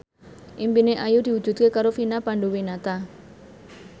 impine Ayu diwujudke karo Vina Panduwinata